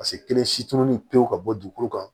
Paseke kelen si tununi pewu ka bɔ dugukolo kan